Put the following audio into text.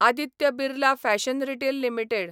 Aditya Birla fashion retail limited